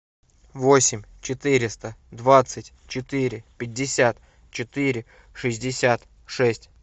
восемь четыреста двадцать четыре пятьдесят четыре шестьдесят шесть